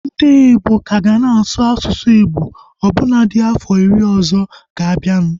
Ndị igbo ka ga na-asụ asụsụ Igbo ọbụna dị afọ iri ọzọ ga-abianu